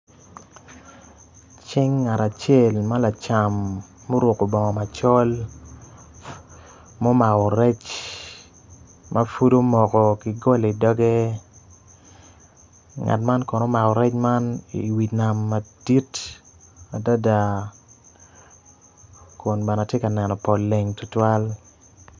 Cing ngat acel ma lacam ma oruku bongo macol mumako rec ma pud omoko ki goli idogge ngat man kono omako rec man i wi nam madit adada kun bene ti ka neno pol leng tutwal